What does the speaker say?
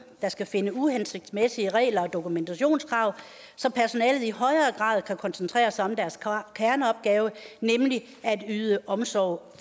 der skal finde uhensigtsmæssige regler og dokumentationskrav så personalet i højere grad kan koncentrere sig om deres kerneopgave nemlig at yde omsorg